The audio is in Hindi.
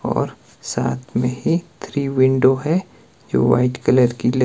और साथ में थ्री विंडो है जो व्हाइट कलर की ल--